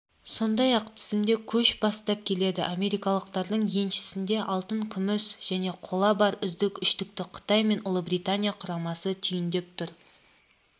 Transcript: сондай-ақ тізімде көш бастап келеді америкалықтардың еншісінде алтын күміс және қола бар үздік үштікті қытай мен ұлыбритания құрамасы түйіндеп тұр